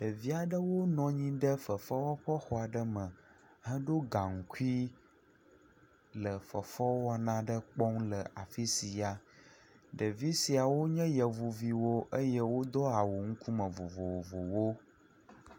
Ɖevia ɖewo nɔ anyi ɖe fefewɔƒexɔ aɖe me hedo gaŋkui le fefewɔna aɖe kpɔm le afi sia. Ɖevi siawo nye yevuviwo eye wodo awu ŋkume vovovowo.